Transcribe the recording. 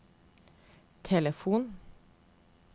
telefon